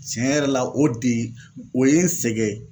Tiɲɛ yɛrɛ la o de o ye n sɛgɛn